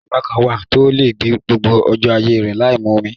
Ẹ̀yà aláǹgbá kan wà tó lè gbé gbogbo ọjọ́ ayé rè láìmu omi.